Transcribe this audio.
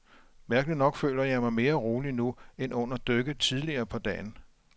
Mærkeligt nok føler jeg mig mere rolig nu, end under dykket tidligere på dagen.